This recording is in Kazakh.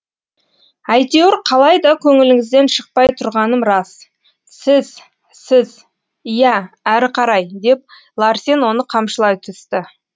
әйтеуір қалайда көңіліңізден шықпай тұрғаным рас сіз сіз иә әрі қарай деп ларсен оны қамшылай түсті